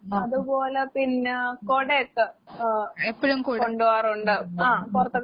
ഉം ഉം എപ്പഴും കൊ ഉം ഉം ഉം ഉം.